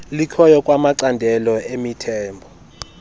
likhoyo kwanamacandelo emithombo